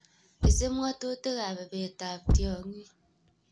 Isib ng'otutikab ibetab tiong'ik.